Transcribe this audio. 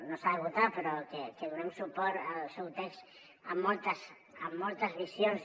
no s’ha de votar però que donem suport al seu text amb moltes visions